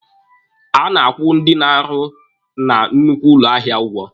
A na-akwụ ndị na-arụ na nnukwu ụlọ ahịa ụgwọ.